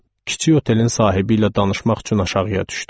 Kiçik otelin sahibi ilə danışmaq üçün aşağıya düşdüm.